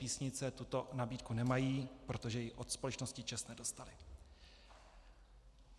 Písnice tuto nabídku nemají, protože ji od společnosti ČEZ nedostali.